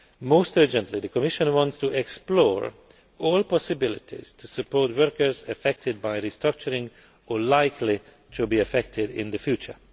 future. Most urgently, the Commission wants to explore all possibilities to support workers affected by restructuring or likely to be affected in the